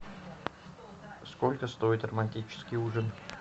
сколько стоит романтический ужин